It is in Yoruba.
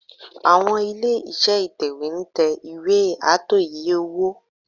Àwọn ilé-iṣẹ́ Ìtẹ̀wé ń tẹ ìwé ààtò iye-owó